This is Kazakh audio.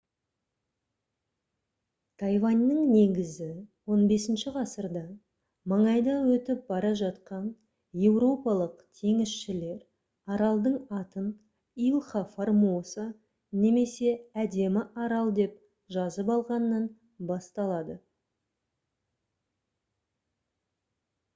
тайваньның негізі 15-і ғасырда маңайда өтіп бара жатқан еуропалық теңізшілер аралдың атын илха формоса немесе әдемі арал деп жазып алғаннан басталады